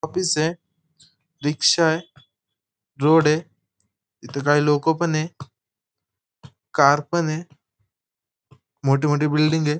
जुन्या राजवाड्याची इमारत वाटत आहे ऑफिस ये रिक्षा ये रोड ये इथ काही लोक पण ये कार पन ये मोठी मोठी बिल्डिंग ये.